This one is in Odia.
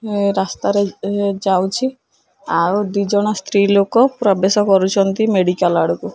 ଏ ରାସ୍ତା ରେ ଏ ଯାଉଚି ଆଉ ଦି ଜଣ ସ୍ତ୍ରୀ ଲୋକ ପ୍ରବେଶ କରୁଚନ୍ତି ମେଡ଼ିକାଲ ଆଡ଼କୁ।